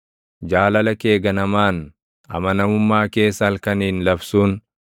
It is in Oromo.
Jaalala kee ganamaan, amanamummaa kees halkaniin labsuun,